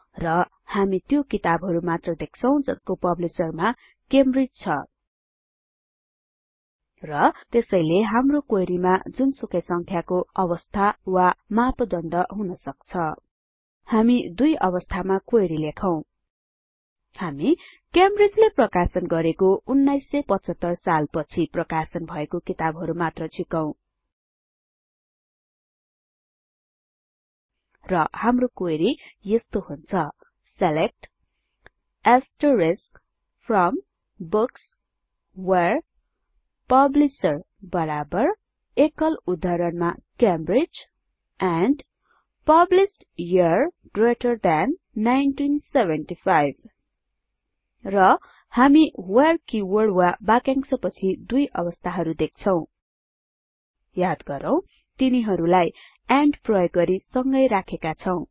र हामी त्यो किताबहरु मात्र देख्छौं जसको पब्लिशर मा क्यामब्रिज छ र त्यसैले हाम्रो क्वेरी मा जुनसुकै संख्याको अवस्था वा मापदण्ड हुन सक्छ हामी दुई अवस्थामा क्वेरी लेखौं हामी क्यामब्रिज ले प्रकाशन गरेको १९७५ साल पछि प्रकाशन भएको किताबहरु मात्र झिकौं र हाम्रो क्वेरी यस्तो हुन्छ select from books where publisher Cambridge and published year greater 1975 र हामी व्हेरे किवर्ड वा बाक्यांशपछि दुई अवस्थाहरु देख्छौं याद गरौँ तिनीहरुलाई एन्ड प्रयोग गरि संगै राखेका छौं